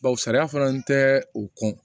sariya fana tɛ o